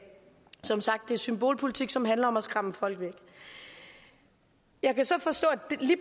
som sagt det er symbolpolitik som handler om at skræmme folk væk jeg kan så forstå